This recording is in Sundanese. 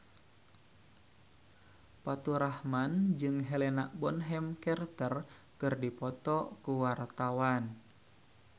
Faturrahman jeung Helena Bonham Carter keur dipoto ku wartawan